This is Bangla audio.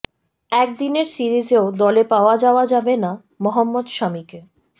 একদিনের সিরিজেও দলে পাওয়া যাওয়া যাবে না মহম্মদ শামিকে